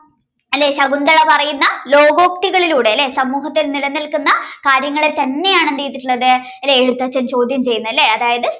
അല്ലേ ശകുന്തള പറയുന്ന ലോകോക്തികളിലൂടെ ലെ സമൂഹത്തിൽ നിലനിൽക്കുന്ന കാര്യങ്ങളെ തന്നെയാണ് ചെയ്തിട്ടുള്ളത് ലെ എഴുത്തച്ഛൻ ചോദ്യം ചെയ്യുന്നത് അല്ലേ അതായത്